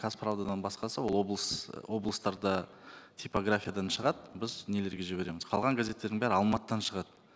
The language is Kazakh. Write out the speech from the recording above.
казправдадан басқасы облыстарда типографиядан шығады біз нелерге жібереміз қалған газеттердің бәрі алматыдан шығады